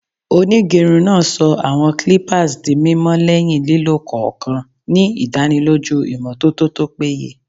Onigerun naa sọ awọn clippers di mimọ lẹhin lilo kọọkan, ni idaniloju imototo to peye.